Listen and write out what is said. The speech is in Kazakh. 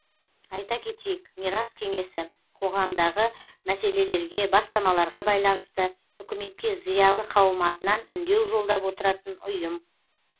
айта кетейік мирас кеңесі қоғамдағы мәселелерге бастамаларға байланысты үкіметке зиялы қауым атынан үндеу жолдап отыратын ұйым